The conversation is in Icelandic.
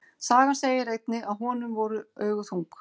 Sagan segir einnig að honum voru augu þung.